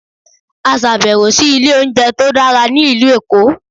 a ṣabẹwo si ile ounjẹ to dara ni ilu Eko